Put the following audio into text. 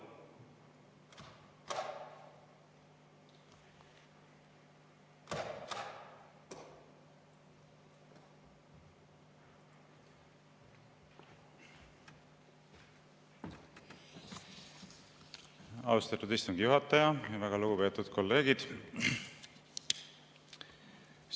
Austatud istungi juhataja ja väga lugupeetud kolleegid!